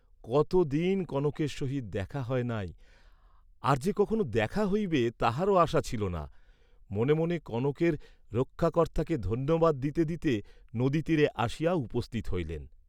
কতদিন কনকের সহিত দেখা হয় নাই, আর যে কখনও দেখা হইবে তাহারও আশা ছিল না, মনে মনে কনকের রক্ষাকর্ত্তাকে ধন্যবাদ দিতে দিতে নদীতীরে আসিয়া উপস্থিত হইলেন।